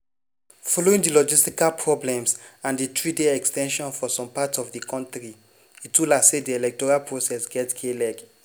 following di logistical problems and di three-day ex ten sion for some parts of di kontri itula say di electoral process get k-leg.